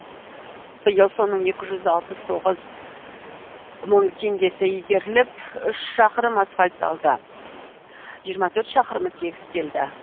биыл соның екі жүз алпыс тоғыз мың теңгесі игеріліп үш шақырым асфальтталды жиырма төрт шақырымы тегістелді